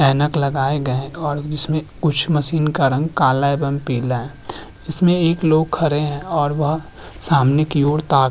ऐनक लगाए गए हैं और जिसमे कुछ मशीन का रंग काला एवं पीला है जिसमे एक लोग खड़े हैं और वह सामने की और ताक --